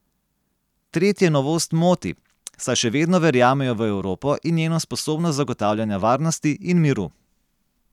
Tretje novost moti, saj še vedno verjamejo v Evropo in njeno sposobnost zagotavljanja varnosti in miru.